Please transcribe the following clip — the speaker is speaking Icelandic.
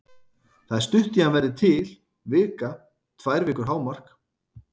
Það er stutt í að hann verði til, vika, tvær vikur hámark.